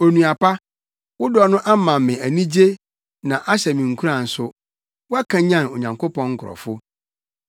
Onua pa, wo dɔ no ama me anigye na ahyɛ me nkuran nso. Woakanyan Onyankopɔn nkurɔfo.